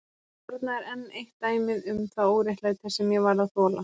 Þarna er enn eitt dæmið um það óréttlæti sem ég varð að þola.